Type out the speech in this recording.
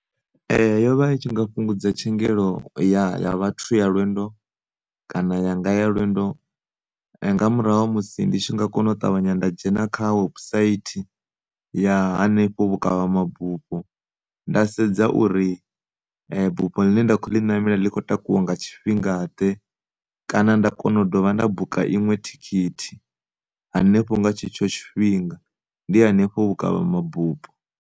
Yo vha i tshi nga fhungudza tshengelo ya, ya vhathu ya lwendo kana yanga ya lwendo nga murahu ha musi ndi tshi nga kona u ṱavhanya nda dzhena kha website ya henefho vhukavha mabufho nda sedza uri bufho ḽine nda kho ḽi namela ḽi kho takuwa nga tshifhinga ḓe, kana nda kona u dovha nda buka iṅwe thikhithi hanefho nga tshetsho tshifhinga ndi hanefho vhukavha mabufho.